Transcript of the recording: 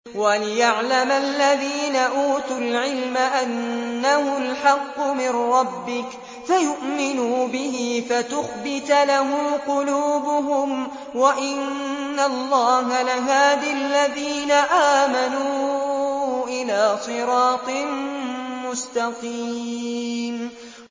وَلِيَعْلَمَ الَّذِينَ أُوتُوا الْعِلْمَ أَنَّهُ الْحَقُّ مِن رَّبِّكَ فَيُؤْمِنُوا بِهِ فَتُخْبِتَ لَهُ قُلُوبُهُمْ ۗ وَإِنَّ اللَّهَ لَهَادِ الَّذِينَ آمَنُوا إِلَىٰ صِرَاطٍ مُّسْتَقِيمٍ